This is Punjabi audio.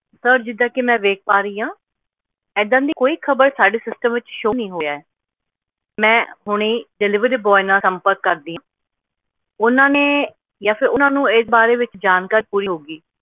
sir ਜਿੱਦਾਂ ਕੀ ਮੈਂ ਵੇਖ ਪਾ ਰਹੀ ਆ ਇੱਦਾਂ ਦੀ ਕੋਈ ਖ਼ਬਰ ਸਾਡੀ system ਵਿਚ show ਨਹੀਂ ਹੋਇਆ ਐ ਮੈਂ ਹੁਣਿ deliveryboy ਨਾਲ ਸੰਪਰਕ ਕਰਦੀ ਆ ਓਹਨਾ ਨੇ ਆ ਫੇਰ ਓਹਨਾ ਨੂੰ ਇਸ ਬਾਰੇ ਜਾਣਕਾਰੀ ਪੂਰੀ ਹੋਊਗੀ